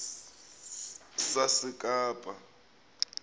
sasekapa